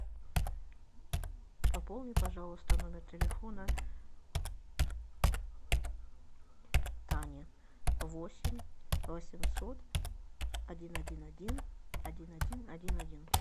пополни пожалуйста номер телефона тани восемь восемьсот один один один один один один один